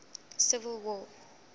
civil war